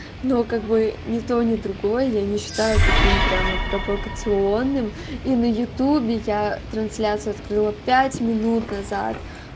но как бы ни то ни другое я не считаю таким прямо провокационным и на ютубе я трансляцию открыла пять минут назад